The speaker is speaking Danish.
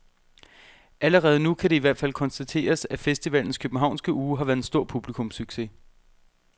Allerede nu kan det i hvert fald konstateres, at festivalens københavnske uge har været en stor publikumssucces.